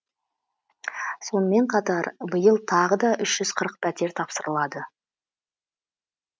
сонымен қатар биыл тағы да үш жүз қырық пәтер тапсырылады